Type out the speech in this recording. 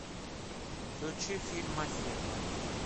включи фильм о зебрах